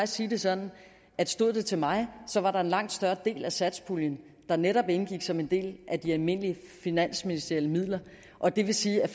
sige det sådan at stod det til mig var der en langt større del af satspuljen der netop indgik som en del af de almindelige finansministerielle midler og det vil sige at